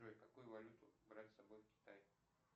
джой какую валюту брать с собой в китай